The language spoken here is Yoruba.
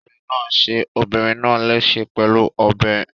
Olè náà ṣe obìnrin náà léṣe pẹ̀lú ọ̀bẹ.